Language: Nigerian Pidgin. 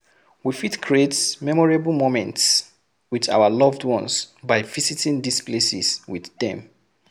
We fit create memorable moments with our loved ones by visiting these places with dem